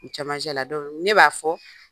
Camancɛ la dɔ bi wuli ne b'a fɔ